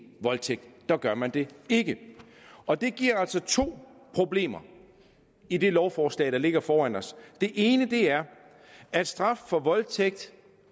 voldtægt der gør man det ikke og det giver altså to problemer i det lovforslag der ligger foran os det ene er at straffen for voldtægt